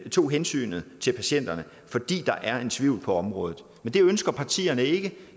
tog hensynet til patienterne fordi der er en tvivl på området men det ønsker partier ikke